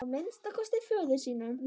Að minnsta kosti föður sínum.